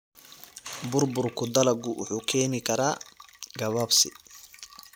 Burburka dalaggu wuxuu keeni karaa gabaabsi.